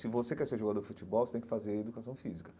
Se você quer ser jogador de futebol, você tem que fazer educação física.